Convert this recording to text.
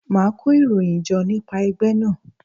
Màá kó ìròyìn jọ nípa ẹgbẹ́ náà.